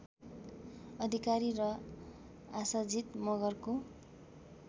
अधिकारी र आसाजित मगरको